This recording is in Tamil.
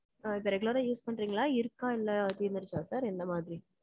அ, இப்ப regular ஆ use பண்றீங்களா? இருக்கா? இல்லை, தீர்ந்துடுச்சா sir? எந்த மாதிரி?